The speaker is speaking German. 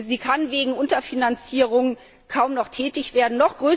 Sie kann wegen Unterfinanzierung kaum noch tätig werden.